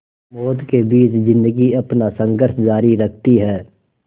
मौत के बीच ज़िंदगी अपना संघर्ष जारी रखती है